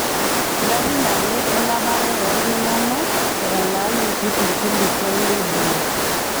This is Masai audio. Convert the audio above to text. Ngarin ake enapare oo ltung'ana etalaayioki tolkilikuai leduoo